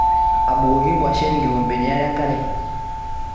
Abukoki ngwashen kikombeni are enkare?